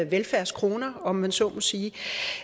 velfærdskroner om man så må sige